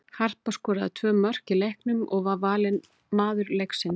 Harpa skoraði tvö mörk í leiknum og var valin maður leiksins.